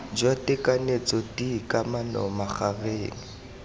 jwa tekanyetso d kamano magareng